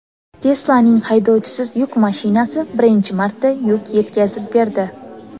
Tesla’ning haydovchisiz yuk mashinasi birinchi marta yuk yetkazib berdi.